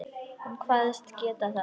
Hún kvaðst geta það.